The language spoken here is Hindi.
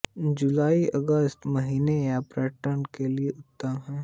जुलाईअगस्त का महीना यहाँ के पर्यटन के लिए उत्तम है